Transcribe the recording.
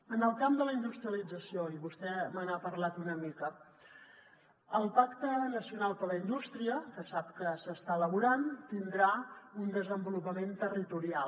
en el camp de la industrialització i vostè me n’ha parlat una mica el pacte nacional per la indústria que sap que s’està elaborant tindrà un desenvolupament territorial